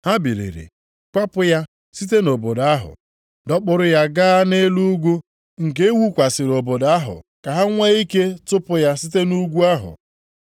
Ha biliri, kwapụ ya site nʼobodo ahụ, dọkpụrụ ya gaa nʼelu ugwu nke e wukwasịrị obodo ahụ ka ha nwee ike tụpụ ya site nʼugwu ahụ.